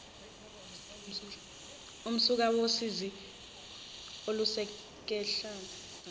umsuka wosizi oluzokwehlela